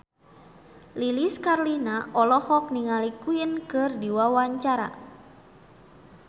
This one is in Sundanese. Lilis Karlina olohok ningali Queen keur diwawancara